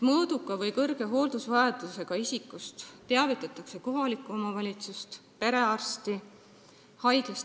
Mõõduka või kõrge hooldusvajadusega isiku haiglast lahkumise korral tuleks teavitada kohalikku omavalitsust ja perearsti.